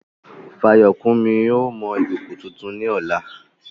Fayokunmi yóò mọ ìkòkò tuntun ní ọ̀la.